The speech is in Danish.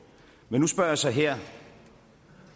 men nu spørger jeg så her